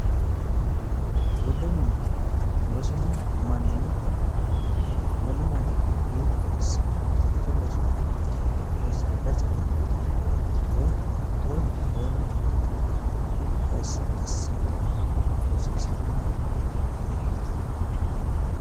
giwirinnu rosino manni wolu mannira hiitto asse baatto loosirannoro woyi saada ceannoro woy woleno kore laweere hiitto asse assannoro rosiissanno ogeeyyeeti.